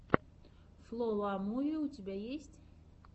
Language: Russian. фло ла муви у тебя есть